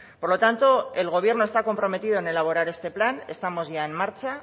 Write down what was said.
por lo tanto el gobierno está comprometido en elaborar este plan estamos ya en marcha